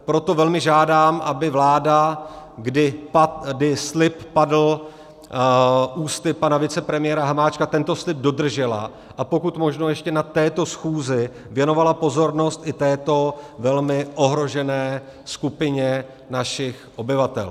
Proto velmi žádám, aby vláda, kdy slib padl ústy pana vicepremiéra Hamáčka, tento slib dodržela a pokud možno ještě na této schůzi věnovala pozornost i této velmi ohrožené skupině našich obyvatel.